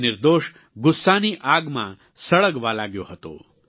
તે નિર્દોષ ગુસ્સાની આગમાં સળગવા લાગ્યો હતો